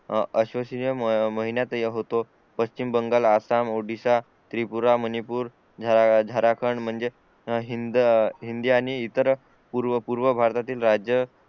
अशाशीय महिन्यात होतो पश्चिम बंगाल आसाम ओडिसा त्रिपुरा मणिपूर झारखंड म्हणजे हिंद हिंदी आणि इतर पूर्व पूर्व भारतातील राज्य